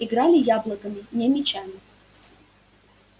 играли яблоками не мячами